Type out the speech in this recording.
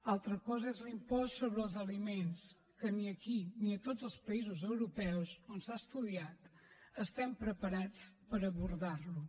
altra cosa és l’impost sobre els aliments que ni aquí ni a tots els països europeus on s’ha estudiat estem preparats per abordar lo